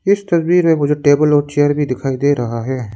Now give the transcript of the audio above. इस तस्वीर में मुझे टेबल और चेयर भी दिखाई दे रहा है।